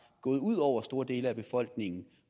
gået ud over store dele af befolkningen